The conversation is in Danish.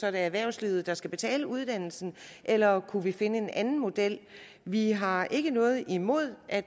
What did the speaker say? erhvervslivet der skal betale uddannelsen eller kunne vi finde en anden model vi har ikke noget imod at